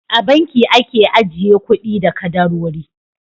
A banki ake ajiye kuɗi da kadarori.